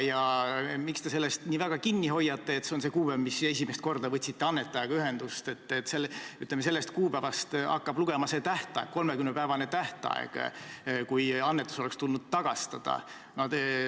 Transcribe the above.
Miks te sellest nii väga kinni hoiate, et see on see kuupäev, mil te esimest korda võtsite annetajaga ühendust, et, ütleme, sellest kuupäevast hakkab lugema see 30-päevane tähtaeg, kui annetus oleks tulnud tagastada.